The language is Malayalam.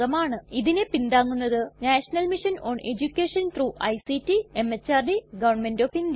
ഇതിനെ പിന്താങ്ങുന്നത് national mission on education through ICT MHRD government of India